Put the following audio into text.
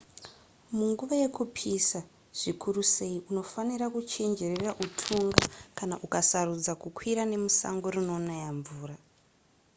munguva yekupisa zvikuru sei unofanira kuchenjerera hutunga kana ukasarudza kukwira nemusango rinonaya mvura